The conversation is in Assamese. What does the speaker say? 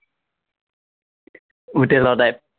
হোটেলৰ টাইপ